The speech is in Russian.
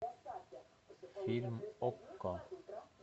фильм окко